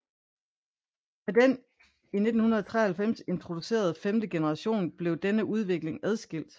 Med den i 1993 introducerede femte generation blev denne udvikling adskilt